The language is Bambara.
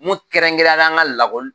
Mun kɛrɛnkɛrɛnnenya la an ka lakɔli